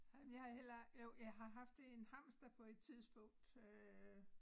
Men jeg har heller jo har haft en hamster på et tidspunkt øh